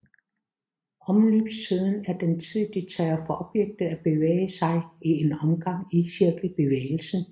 Omløbstiden er den tid det tager for objektet at bevæge sig én omgang i cirkelbevægelsen